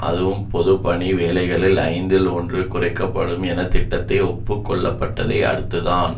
அதுவும் பொதுப்பணி வேலைகளில் ஐந்தில் ஒன்று குறைக்க படும் என்ற திட்டத்தை ஒப்பு கொள்ளப்பட்டதை அடுத்துத்தான்